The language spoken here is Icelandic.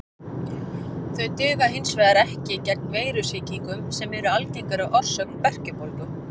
Þau duga hins vegar ekki gegn veirusýkingum sem eru algengari orsök berkjubólgu.